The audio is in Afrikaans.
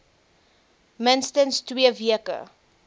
minstens twee weke